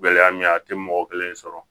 Gɛlɛya min ye a tɛ mɔgɔ kelen sɔrɔ